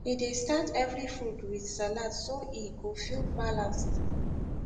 e dey start every food with salad so e go feel balanced